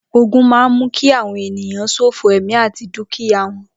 Ógùn mà n mù ki awọn éniyàn ṣófó ẹmi àtí dùkíyá wọn